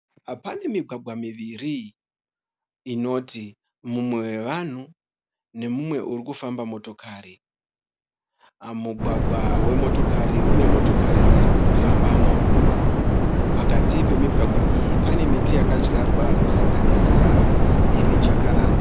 Pane migwagwa miviri inoti mumwe wevanhu nomumwe uri kufamba motokari. Mugwagwa wemotokari une motokari dziri kutofambamo. Pakati pemigwagwa iyi pane miti yakadyarwa kusanganisira mijakaranda.